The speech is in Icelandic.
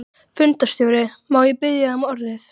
Fundarstjóri, má ég biðja um orðið?